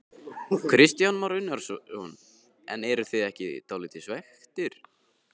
Kristján Már Unnarsson: En eruð þið ekki dálítið svekktir?